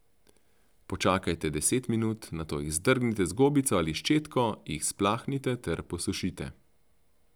Počakajte deset minut, nato jih zdrgnite z gobico ali ščetko, jih splaknite ter posušite.